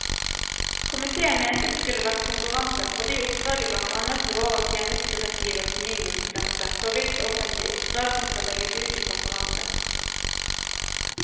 Komitéen mente det skulle vært konkurranse fordi oppdraget blant annet lå over tjenestedirektivets minimumsgrense for hvilke offentlige oppdrag som skal legges ut til konkurranse.